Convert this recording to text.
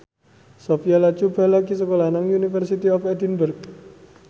Sophia Latjuba lagi sekolah nang University of Edinburgh